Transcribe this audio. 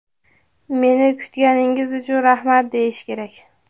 "meni kutganingiz uchun rahmat" deyish kerak.